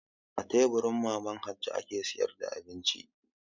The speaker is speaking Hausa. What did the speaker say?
A teburi Mama Hajo ke sayar da abinci.